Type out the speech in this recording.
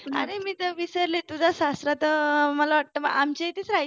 अरे मी तर विसरले तुझा सासरा तर मला वाटतं आमच्या इथे रहायचा.